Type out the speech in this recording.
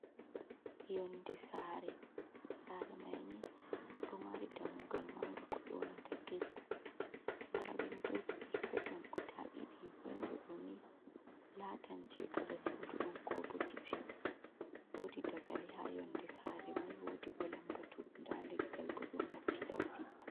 Yonde Sare: Sare mai ni ɗo mari dammugal manga ko yoonata gate. Nda windoji perpeton guda ɗiɗi; windo ɗo ni latan je gaɗa sudu on ko bo kitchen. Wodi dagali ha yonde sare mai, wodi bo lambatu, nda leggal bo ɗum hokki ɗaudi.